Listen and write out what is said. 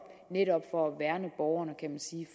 netop for at værne borgerne kan man sige